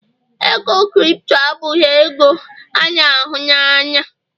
ego Kripto abụghị ego a n'ahụ na anya.